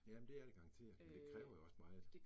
Ja, men det er det garanteret, men det kræver jo også meget